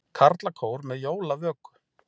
Karlakór með jólavöku